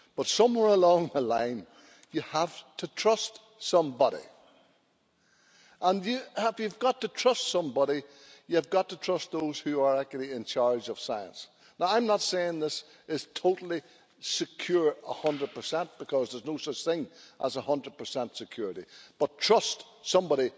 But somewhere along the line you have to trust somebody, and if you've got to trust somebody, you've got to trust those who are actually in charge of science. Now I am nor saying this is totally secure 100, because there is no such thing as 100 security, but trust somebody.